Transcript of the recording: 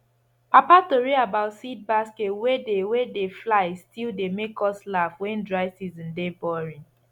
papa tori about seed basket wey dey wey dey fly still dey make us laugh when dry season dey boring